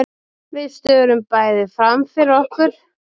Við störum bæði framfyrir okkur.